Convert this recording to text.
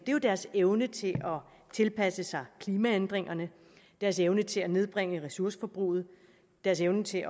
jo deres evne til at tilpasse sig klimaændringerne deres evne til at nedbringe ressourceforbruget og deres evne til